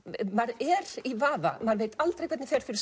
maður er í vafa maður veit aldrei hvernig fer fyrir